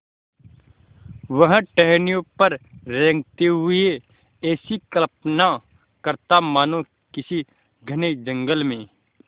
वह टहनियों पर रेंगते हुए ऐसी कल्पना करता मानो किसी घने जंगल में